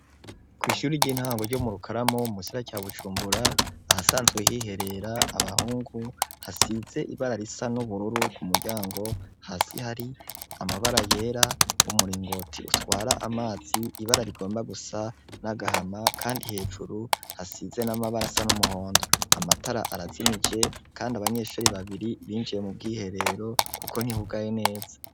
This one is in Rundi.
Kw'ishure ry'intango ryo mu Rukaramu mu gisagara ca Bujumbura ahasanzwe hiherera abahungu hasize ibara risa n'ubururu ku muryango, hasi hari amabara yera, umuringoti utwara amazi ibara rigomba gusa n'agahama kandi hejuru hasize n'amabara asa n'umuhondo. Amatara arazimije kandi abanyeshuri babiri binjiye mu bwiherero kuko ntihugaye neza.